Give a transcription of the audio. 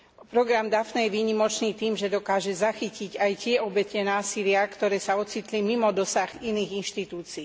Program Daphne je výnimočný tým, že dokáže zachytiť aj tie obete násilia, ktoré sa ocitli mimo dosahu iných inštitúcií.